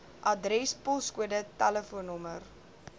adres poskode tel